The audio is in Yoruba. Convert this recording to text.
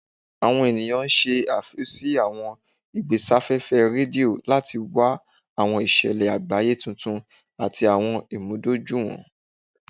Awọn eniyan ṣe aifwy si awọn igbesafefe redio lati wa awọn iṣẹlẹ agbaye tuntun ati awọn imudojuiwọn.